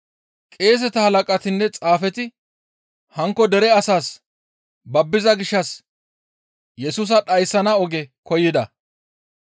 Qeeseta halaqatinne xaafeti hankko dere asaas babbiza gishshas Yesusa dhayssana oge koyida.